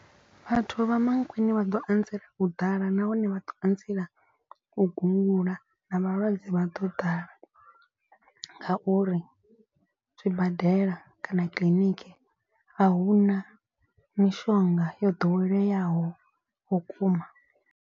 Vhathu vha Mankweng vha ḓo anzela u ḓala nahone vha ḓo anzela u gungula na vhalwadze vha ḓo ḓala. Ngauri zwibadela kana kiḽiniki a hu na mishonga yo ḓoweleaho vhukuma.